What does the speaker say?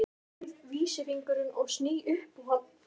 Finn vísifingur og sný upp á hann.